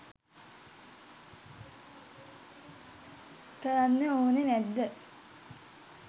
කරන්න ඔනෙ නැද්ද?